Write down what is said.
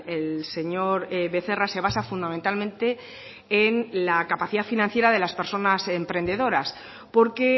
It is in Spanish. el señor becerra se basa fundamentalmente en la capacidad financiera de las personas emprendedoras porque